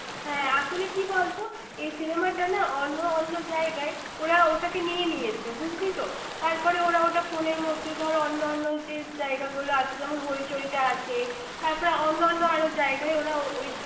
হ্যাঁ। আসলে কি বলতো, এই cinema না অন্য অন্য জায়গায়, ওরা ওটাকে নিয়ে নিয়েছে বুঝলি তো। তারপরে ওরা ওটা phone এর মধ্যে ধর যে অন্য অন্য যে জায়গা গুলো আছে, যেমন হইচইটা আছে, তারপর অন্য অন্য আরো জায়গায় ওরা ওই,